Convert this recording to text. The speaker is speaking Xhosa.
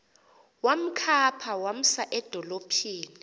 wamkhapha wamsa edolophini